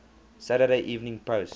saturday evening post